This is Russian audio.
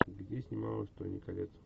где снималась тони коллетт